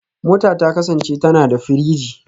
Mota ta kasance tana da firiji